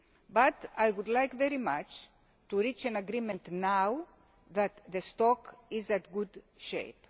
But I would very much like to reach an agreement now that the stock is in good